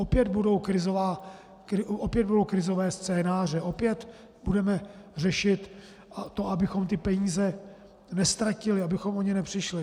Opět budou krizové scénáře, opět budeme řešit to, abychom ty peníze neztratili, abychom o ně nepřišli.